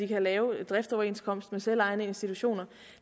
kan lave en driftsoverenskomst med selvejende institutioner